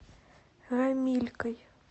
рамилькой